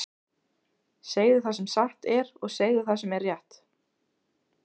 Segðu það sem satt er, og segðu það sem er rétt!